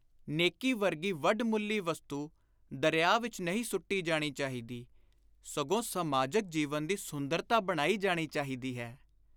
ਨੇਕੀ ਵਰਗੀ ਵੱਡ-ਮੁੱਲੀ ਵਸਤੂ ਦਰਿਆ ਵਿਚ ਨਹੀਂ ਸੁੱਟੀ ਜਾਣੀ ਚਾਹੀਦੀ, ਸਗੋਂ ਸਮਾਜਕ ਜੀਵਨ ਦੀ ਸੁੰਦਰਤਾ ਬਣਾਈ ਜਾਣੀ ਚਾਹੀਦੀ ਹੈ।